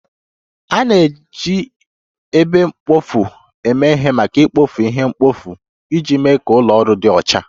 A na-eji ebe mkpofu eme ihe maka ikpofu ihe mkpofu iji mee ka ụlọ ọrụ dị ọcha